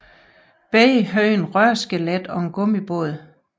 Begge havde et rørskelet og gummibånd